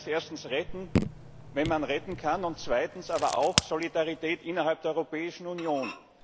Das heißt erstens, retten, wenn man retten kann, und zweitens aber auch Solidarität innerhalb der Europäischen Union.